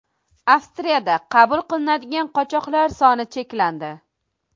Avstriyada qabul qilinadigan qochoqlar soni cheklandi.